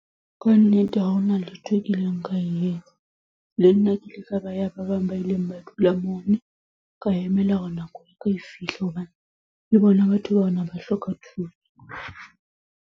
Ka nnete ha hona letho e kileng ka e etsa. Le nna ke ile ka ba wa ba bang ba ileng ba dula moo. Ka emela hore nako ya ka e fihle hobane ke bona batho bana ba hloka thuso.